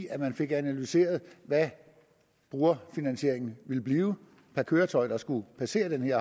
at man fik analyseret hvad brugerfinansieringen ville blive per køretøj der skulle passere den her